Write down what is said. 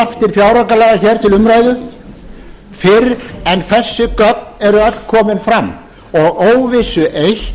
fjáraukalaga til umræðu fyrr en þessi gögn eru öll komin frá og óvissu eitt